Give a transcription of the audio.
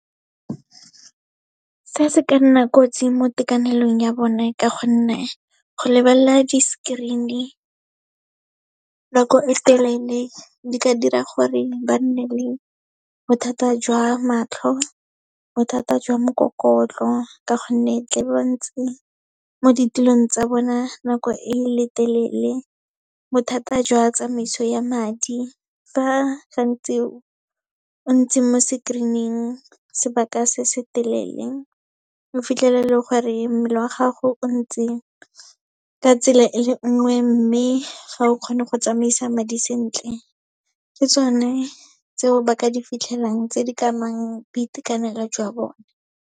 Se se ka nna kotsi mo tekanelong ya bone ka gonne, go lebelela di-screen-e nako e telele, di ka dira gore ba nne le bothata jwa matlho, bothata jwa mokokotlo ka gonne ka be ba ntse mo ditilong tsa bona nako e le telele. Bothata jwa tsamaiso ya madi, fa gantsi o ntse mo se screen-ing sebaka se se telele, o fitlhela e le gore mmele wa gago o ntse ka tsela e le nngwe, mme ga o kgone go tsamaisa madi sentle. Ke tsone tseo ba ka di fitlhelang, tse di ka amang boitekanelo jwa bone.